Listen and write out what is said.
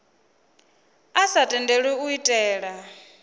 a sa tendelwi u itela